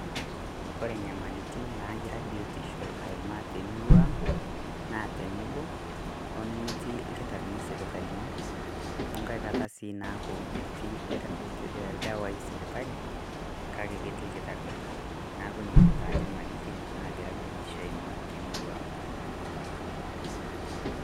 Kore nyamalitin nagira biotisho aimaa te murrua ang' naa teneboo onemetii ilkitarini sipitalini o nkai kaataa sii naaku metii ldewai sipitali kaki ketii lkitari naaku nenia taa nyamalitin naigira biotisho aimaa te murrua ang'.